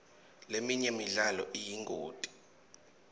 leminye imidlalo iyingoti